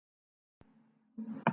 Móna